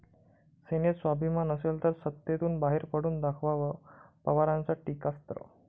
सेनेत स्वाभिमान असेल तर सत्तेतून बाहेर पडून दाखवावं, पवारांचं टीकास्त्र